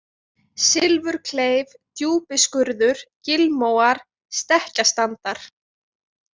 Silfurkleif, Djúpiskurður, Gilmóar, Stekkjastandar